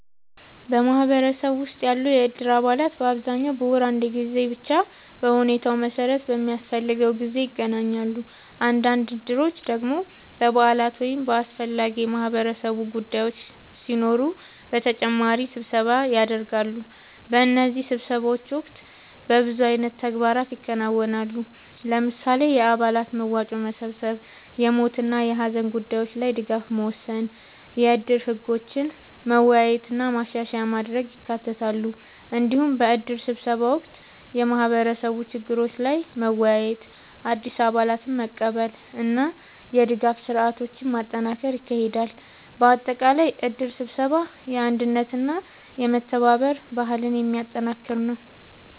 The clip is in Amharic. በማህበረሰብ ውስጥ ያሉ የእድር አባላት በአብዛኛው በወር አንድ ጊዜ ወይም በሁኔታው መሠረት በሚያስፈልገው ጊዜ ይገናኛሉ። አንዳንድ እድሮች ደግሞ በበዓላት ወይም በአስፈላጊ የማህበረሰብ ጉዳዮች ሲኖሩ በተጨማሪ ስብሰባ ያደርጋሉ። በእነዚህ ስብሰባዎች ወቅት በብዙ አይነት ተግባራት ይከናወናሉ። ለምሳሌ፣ የአባላት መዋጮ መሰብሰብ፣ የሞት ወይም የሀዘን ጉዳዮች ላይ ድጋፍ መወሰን፣ የእድር ህጎችን መወያየት እና ማሻሻያ ማድረግ ይካተታሉ። እንዲሁም በእድር ስብሰባ ወቅት የማህበረሰብ ችግሮች ላይ መወያየት፣ አዲስ አባላትን መቀበል እና የድጋፍ ስርዓቶችን ማጠናከር ይካሄዳል። በአጠቃላይ እድር ስብሰባ የአንድነትና የመተባበር ባህልን የሚያጠናክር ነው።